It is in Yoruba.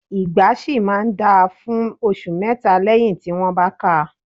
Ìgbá ṣì máa ń dáa fún ọṣù mẹ́tà lẹ́yì tí wọ́n bá káa.